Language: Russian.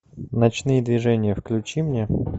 ночные движения включи мне